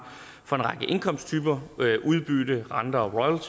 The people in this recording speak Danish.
for en indkomsttyper udbytte rente og